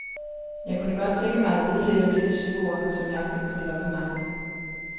Jeg kunne godt tænke mig at vide lidt om dette sybord, som jeg har købt på et loppemarked.